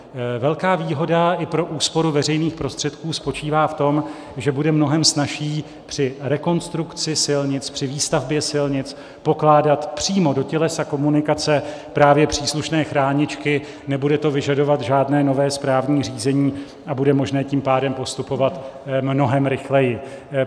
Velká výhoda i pro úsporu veřejných prostředků spočívá v tom, že bude mnohem snazší při rekonstrukci silnic, při výstavbě silnic pokládat přímo do tělesa komunikace právě příslušné chráničky, nebude to vyžadovat žádné nové správní řízení, a bude možné tím pádem postupovat mnohem rychleji.